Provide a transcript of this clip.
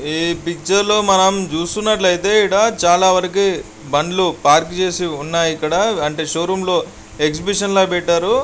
ఈ పిక్చర్ లో మనం చూస్తున్నట్లయితేఈడ చాల వారికీ బండ్లు పార్క్ చేసి ఉన్నాయి. ఇక్కడ అంటే షో రూమ్ లో ఎక్సిబిషన్ ల పెట్టారు.